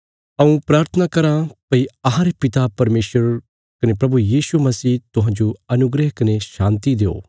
हऊँ प्राथना कराँ भई अहांरे पिता परमेशर कने प्रभु यीशु मसीह तुहांजो अनुग्रह कने शान्ति देओ